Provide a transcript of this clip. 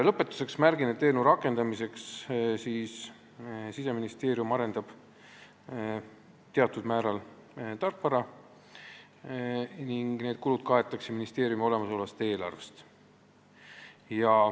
Lõpetuseks märgin, et eelnõu rakendamiseks arendab Siseministeerium teatud määral tarkvara ning need kulud kaetakse ministeeriumi olemasolevast eelarvest.